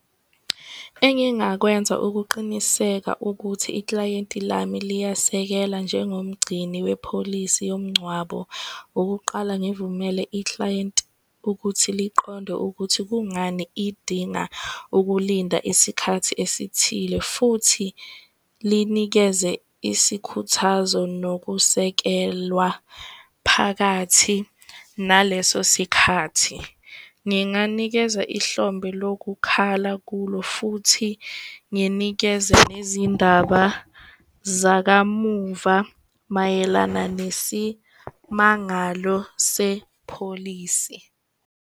Engingakwenza ukuqiniseka ukuthi iklayenti lami liyasekela njengomgcini wepholisi yomgcwabo. Ukuqala ngivumele iklayenti ukuthi liqonde ukuthi kungani idinga ukulinda isikhathi esithile futhi linikeze isikhuthazo nokusekelwa phakathi naleso sikhathi. Nginganikeza ihlombe lokukhala kulo futhi nginikeze nezindaba zakamuva mayelana nesimangalo sepholisi.